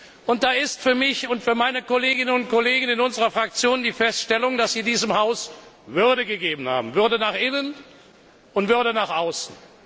Hierzu ist für mich und meine Kolleginnen und Kollegen in unserer Fraktion festzustellen, dass Sie diesem Haus Würde verliehen haben Würde nach innen und Würde nach außen.